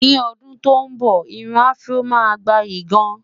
ní ọdún tó nbọ, irún afro má gbayì gaan